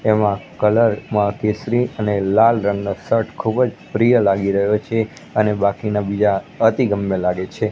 એમાં કલર માં કેસરી અને લાલ રંગનો શર્ટ ખૂબજ પ્રિય લાગી રહ્યો છે અને બાકીના બીજા અતિગમ્મે લાગે છે.